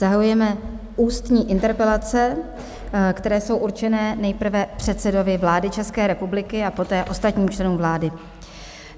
Zahajujeme ústní interpelace, které jsou určené nejprve předsedovi vlády České republiky a poté ostatním členům vlády.